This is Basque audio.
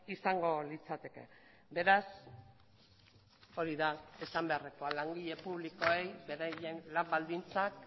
izango litzateke beraz hori da esan beharrekoa langile publikoei beraien lan baldintzak